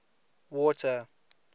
water